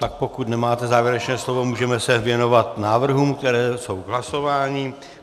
Tak pokud nemáte závěrečné slovo, můžeme se věnovat návrhům, které jsou k hlasování.